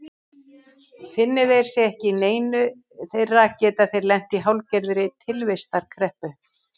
Finni þeir sig ekki í neinu þeirra geta þeir lent í hálfgerðri tilvistarkreppu.